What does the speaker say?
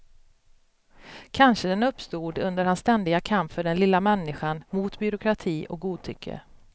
Kanske den uppstod under hans ständiga kamp för den lilla människan mot byråkrati och godtycke.